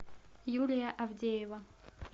юлия авдеева